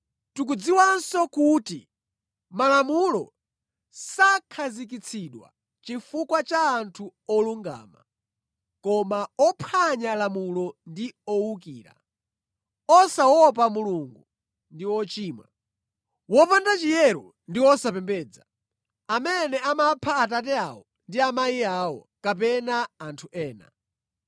Tikudziwanso kuti Malamulo sakhazikitsidwa chifukwa cha anthu olungama, koma ophwanya lamulo ndi owukira, osaopa Mulungu ndi ochimwa, wopanda chiyero ndi osapembedza; amene amapha abambo awo ndi amayi awo, kapena anthu ena.